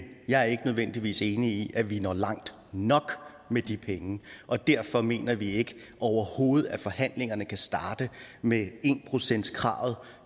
jeg er ikke nødvendigvis enig i at vi når langt nok med de penge og derfor mener vi overhovedet ikke at forhandlingerne kan starte med en procentskravet